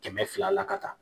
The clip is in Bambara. Kɛmɛ fila la ka taa